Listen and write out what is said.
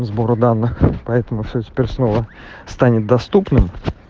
сбор данных поэтому все теперь снова станет доступным